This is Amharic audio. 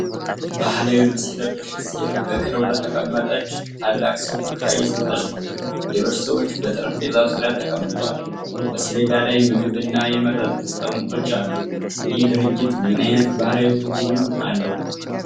ባህላዊ ልብስ የለበሰች ሴት በቅርብ ለተቀመጠች ታላቅ ሰው ጉርሻ እየሰጠች ነው። ሌሎች ሰዎችም በጠረጴዛ ዙሪያ ተቀምጠዋል። በሰሌዳ ላይ ምግብና የመጠጥ ጠርሙሶች አሉ። ይህ ድርጊት ምን አይነት ባህላዊ ትርጉም አለው?